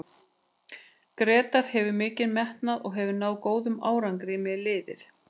Grétar hefur mikinn metnað og hefur náð góðum árangri með liðið.